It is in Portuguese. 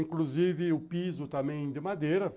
Inclusive, o piso também de madeira.